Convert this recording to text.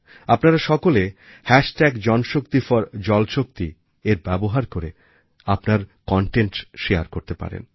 আপনারা সকলে হ্যাশট্যাগ janshakti4jalshaktiএর ব্যবহার করে আপনার কনটেন্ট shareকরতে পারেন